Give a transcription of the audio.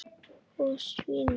Og svínum.